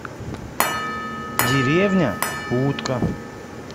деревня утка